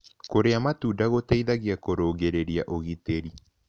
Kũrĩa matũnda gũteĩthagĩa kũrũngĩrĩrĩa ũgĩtĩrĩ